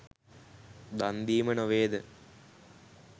දන්දීම නොවේ ද?